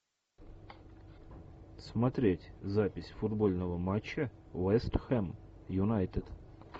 смотреть запись футбольного матча вест хэм юнайтед